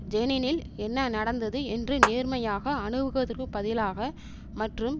ஜெனினில் என்ன நடந்தது என்று நேர்மையாக அணுகுவதற்குப் பதிலாக மற்றும்